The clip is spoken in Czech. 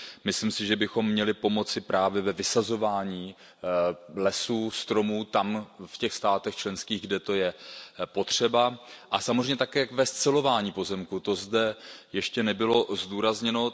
Myslím si, že bychom měli pomoci právě ve vysazování lesů, stromů tam, v těch členských státech, kde je to potřeba, a samozřejmě také ve scelování pozemků, to zde ještě nebylo zdůrazněno.